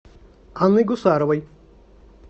анной гусаровой